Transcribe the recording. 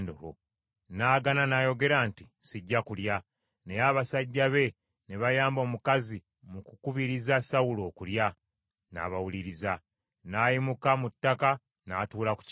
N’agaana n’ayogera nti, “Sijja kulya.” Naye abasajja be ne bayamba omukazi mu kukubiriza Sawulo okulya, n’abawuliriza. N’ayimuka mu ttaka n’atuula ku kitanda.